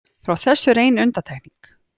Frá þessu er ein undantekning.